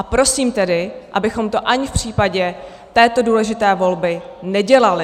A prosím tedy, abychom to ani v případě této důležité volby nedělali.